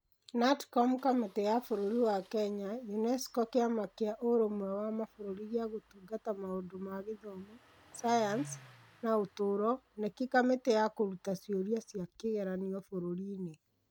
(KNATCOM) Kamĩtĩ ya Bũrũri wa Kenya (UNESCO) Kĩama kĩa Ũrũmwe wa Mabũrũri gĩa Gũtungata Maũndũ ma Gĩthomo, Sayansi, na Ũtũũro (KNEC) Kamĩtĩ ya Kũruta Ciũria cia kĩgeranio Bũrũri-ini